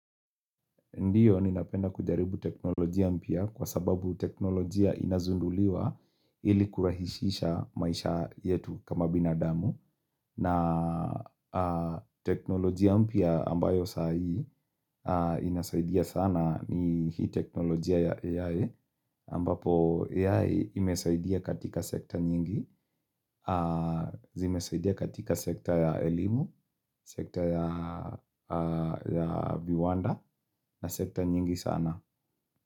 Ndiyo ninapenda kujaribu teknolojia mpya kwa sababu teknolojia inazunduliwa ili kurahisisha maisha yetu kama binadamu. Na teknolojia mpya ambayo saa hii inasaidia sana ni hii teknolojia ya AI ambapo AI imesaidia katika sekta nyingi, zimesaidia katika sekta ya elimu, sekta ya viwanda na sekta nyingi sana.